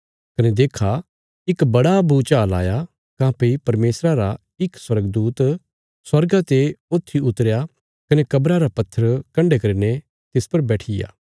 कने देक्खा इक बड़ा भूचाल आया काँह्भई परमेशरा रा इक स्वर्गदूत स्वर्गा ते ऊत्थी उतरया कने कब्रा रा पत्थर कण्डे करीने तिस पर बैठीया